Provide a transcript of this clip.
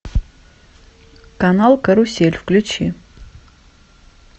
канал карусель включи